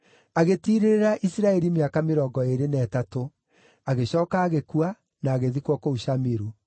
Agĩtiirĩrĩra Isiraeli mĩaka mĩrongo ĩĩrĩ na ĩtatũ; agĩcooka agĩkua, na agĩthikwo kũu Shamiru.